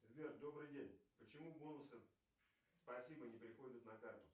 сбер добрый день почему бонусы спасибо не приходят на карту